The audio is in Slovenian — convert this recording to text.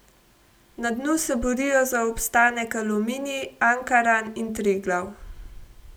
Na dnu se borijo za obstanek Aluminij, Ankaran in Triglav.